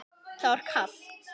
Það var kalt.